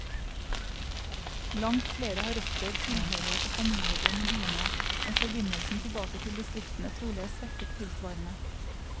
Langt flere har røtter, tilhørighet og familiebånd i byene, mens forbindelsen tilbake til distriktene trolig er svekket tilsvarende.